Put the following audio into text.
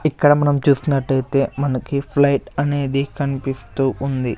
ఇక్కడ మనం చూస్తున్నటైతే మనకి ఫ్లైట్ అనేది కన్పిస్తూ ఉంది.